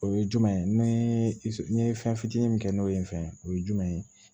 O ye jumɛn ye ni ye fɛn fitinin min ye n fɛ o ye jumɛn ye